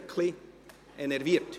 Ich bin grad ein wenig enerviert.